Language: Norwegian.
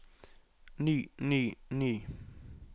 ny ny ny